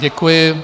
Děkuji.